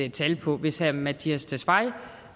et tal på hvis herre mattias tesfaye